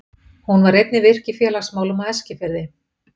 Hún var einnig virk í félagsmálum á Eskifirði.